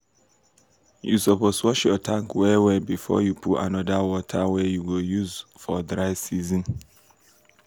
you suppose wash your tank well wellbefore you put another water wey you go use for dry season.